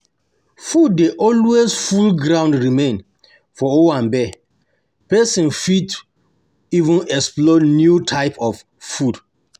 Food dey alway full ground remain for owanbe, person fit even explore new type of food